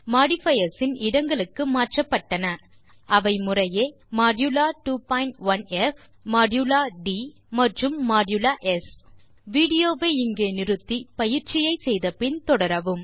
modifiers இன் இடங்களுக்கு மாற்றப்பட்டன அவை முறையே மோடுலா 21ப் மோடுலா ட் மற்றும் மோடுலா ஸ் வீடியோ வை நிறுத்தி பயிற்சியை முடித்த பின் தொடரவும்